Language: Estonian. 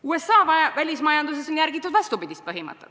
USA välismajanduses on järgitud vastupidist põhimõtet.